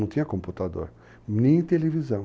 Não tinha computador, nem televisão.